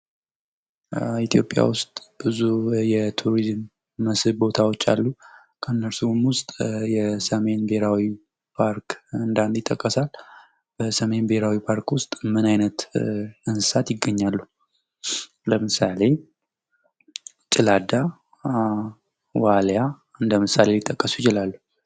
ኢትዮጵያ ውስጥ ብዙ የቱሪዝም ቦታዎች አሉ ከነዚህም ውስጥ የሰሜን ብሔራዊ ፓርክ እንደ አንድ ይጠቀሳል። በሰሜን ብሔራዊ ፓርክ ውስጥ ምን አይነት እንስሳዎች ይገኛሉ? ለምሳሌ ጭላዳ፥ ዋሊያ እንደምሳሌ ልጠቀሱ ይችላሉ።